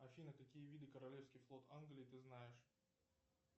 афина какие виды королевский флот англии ты знаешь